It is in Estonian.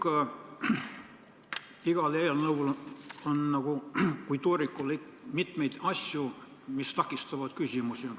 Kuid igas eelnõus on nagu tooriku puhul ikka mitmeid asju, mis tekitavad küsimusi.